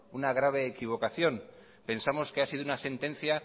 una grave equivocación pensamos que ha sido una sentencia